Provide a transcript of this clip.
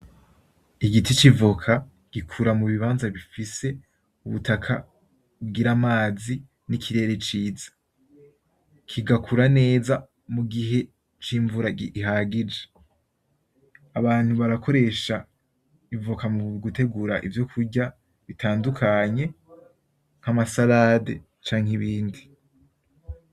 Igiti c'ivoka gikura mu bibanza bifise ubutaka bugira amazi n'ikirere ciza kigakura neza, mugihe c'imvura ihagije, abantu barakoresha ivoka mu gutegura ivyokurya bitadukanye nka masarande canke ibindi.